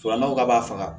n'aw ka b'a faga